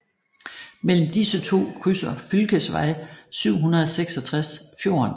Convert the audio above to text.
Mellem disse to krydser fylkesvej 766 fjorden